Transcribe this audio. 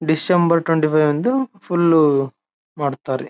December twenty five ದು full ಮಾಡತ್ತಾರೆ.